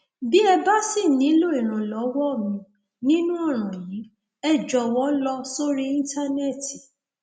bí ẹ bá ṣì nílò ìrànlọwọ mi nínú ọràn yìí ẹ jọwọ lọ sórí íntánẹẹtì